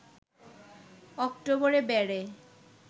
অক্টোবরে বেড়ে